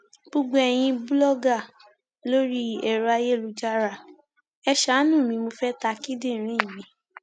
gbogbo eyín bùlọgà lórí ẹrọ ayélujára ẹ ṣààánú mi mo fẹẹ ta kíndìnrín mi